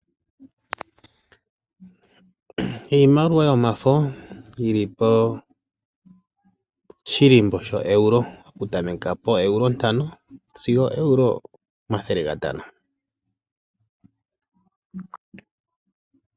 Iimaliwa yomafo yili po shilimbo shaEuro, oku tameka poEuro ntano sigo Euro omathele gatano .